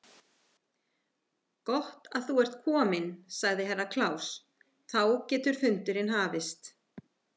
Gott að þú ert kominn, sagði Herra Kláus, þá getur fundurinn hafist.